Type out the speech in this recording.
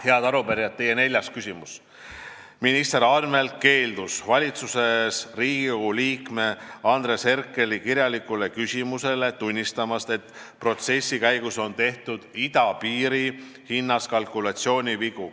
Head arupärijad, teie neljas küsimus: "Minister Anvelt keeldus vastuses Riigikogu liikme Andres Herkeli kirjalikule küsimusele tunnistamast, et protsessi käigus on tehtud idapiiri hinnas kalkulatsioonivigu.